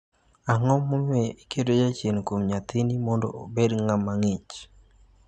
"Ang'o momiyo iketo jachien kuom nyathini mondo obed ng'ama ng'ich?"""